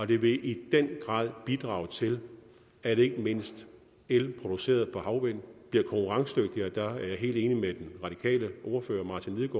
det vil i den grad bidrage til at ikke mindst el produceret på havvind bliver konkurrencedygtig og der er jeg helt enig med den radikale ordfører martin